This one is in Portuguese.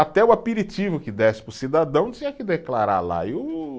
Até o aperitivo que desse para o cidadão tinha que declarar lá e o